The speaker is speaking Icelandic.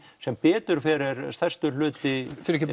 sem betur fer er stærstur hluti